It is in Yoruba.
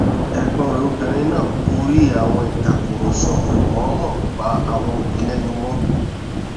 ẹgbọn rẹ obìnrin náà gorí àwọn ìtàkùrọsọ kò mọọmọ pa àwọn òbí lẹnu mọ